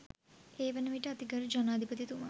ඒවන විට අතිගරු ජනාධිපතිතුමා